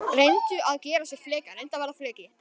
Reyndu að gera sér fleka